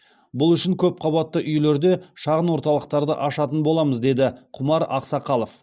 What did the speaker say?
бұл үшін көпқабатты үйлерде шағын орталықтарды ашатын боламыз деді құмар ақсақалов